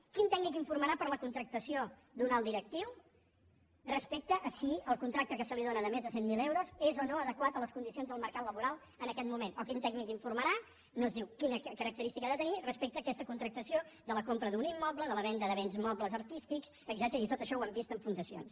quin tècnic informarà per a la contractació d’un alt directiu respecte a si el con·tracte que se li dóna de més de cent mil euros és o no adequat a les condicions del mercat laboral en aquest moment o quin tècnic informarà no es diu quina característica ha de tenir respecte a aquesta contrac·tació de la compra d’un immoble de la venda de béns mobles artístics etcètera i tot això ho hem vist en fundacions